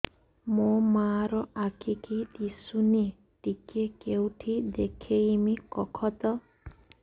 ମୋ ମା ର ଆଖି କି ଦିସୁନି ଟିକେ କେଉଁଠି ଦେଖେଇମି କଖତ